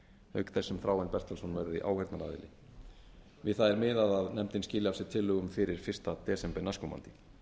auk þess sem þráinn bertelsson verði áheyrnaraðili við það er miðað að nefndin skili af sér tillögum fyrsta desember næstkomandi